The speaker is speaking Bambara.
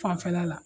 Fanfɛla la